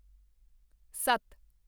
ਸੱਤ